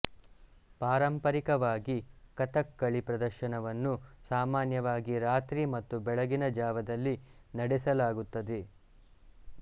ಪಾರಂಪರಿಕವಾಗಿ ಕಥಕ್ಕಳಿ ಪ್ರದರ್ಶನವನ್ನು ಸಾಮಾನ್ಯವಾಗಿ ರಾತ್ರಿ ಮತ್ತು ಬೆಳಗಿನ ಜಾವದಲ್ಲಿ ನಡೆಸಲಾಗುತ್ತದೆ